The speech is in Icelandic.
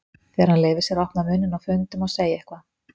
Þegar hann leyfir sér að opna munninn á fundum og segja eitthvað.